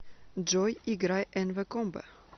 джой играй энвэ комбо